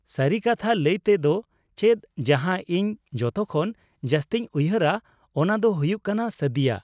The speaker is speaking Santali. ᱥᱟᱹᱨᱤ ᱠᱟᱛᱷᱟ ᱞᱟᱹᱭ ᱛᱮ ᱫᱚ ᱪᱮᱫ, ᱡᱟᱦᱟᱸ ᱤᱧ ᱡᱚᱛᱚ ᱠᱷᱚᱱ ᱡᱟᱹᱥᱛᱤᱧ ᱩᱭᱦᱟᱹᱨᱟ, ᱚᱱᱟ ᱫᱚ ᱦᱩᱭᱩᱜ ᱠᱟᱱᱟ ᱥᱟᱫᱤᱭᱟ ᱾